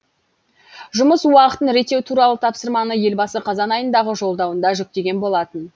жұмыс уақытын реттеу туралы тапсырманы елбасы қазан айындағы жолдауында жүктеген болатын